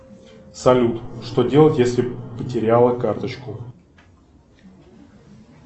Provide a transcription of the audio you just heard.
салют что делать если потеряла карточку